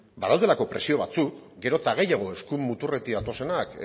badaudelako presio batzuk gero eta gehiago eskuin muturretik datozenak